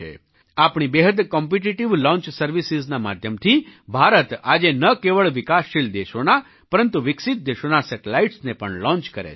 આપણી બેહદ competitive launch services ના માધ્યમથી ભારત આજે ન કેવળ વિકાસશીલ દેશોના પરંતુ વિકસિત દેશોના સેટેલાઇટ્સને પણ લૉન્ચ કરે છે